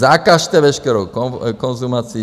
Zakažte veškerou konzumaci.